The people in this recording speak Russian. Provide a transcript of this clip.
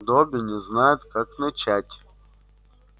добби не знает как начать